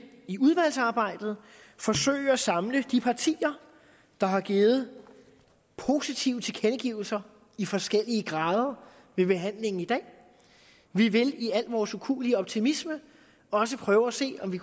i udvalgsarbejdet forsøge at samle de partier der har givet positive tilkendegivelser i forskellige grader ved behandlingen i dag vi vil i al vores ukuelige optimisme også prøve at se om vi